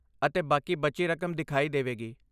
ਅਤੇ ਬਾਕੀ ਬਚੀ ਰਕਮ ਦਿਖਾਈ ਦੇਵੇਗੀ।